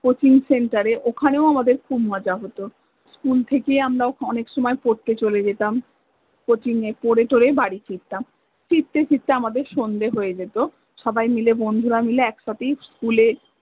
Cochin centre এ অখানেও আমাদের খুব মজা হত, school থেকে আমরা অনেক সময় পরতে চ্লে যেতাম, কচিনে পরে থরে বাড়ি ফিরতাম, ফিরতে ফিরতে আমাদের সন্ধে হয়ে যেত সবাই মিলে বন্ধুরা মিলে একসাথেই school এ